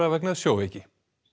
vegna sjóveiki